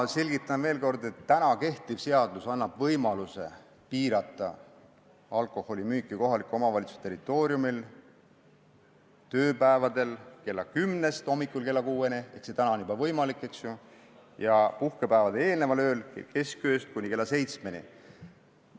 Ma selgitan veel kord, et kehtiv seadus annab võimaluse piirata alkoholimüüki kohaliku omavalitsuse territooriumil tööpäevadel õhtul kella kümnest hommikul kella kuueni – see on juba võimalik – ja puhkepäevale eelneval ööl keskööst kuni kella seitsmeni.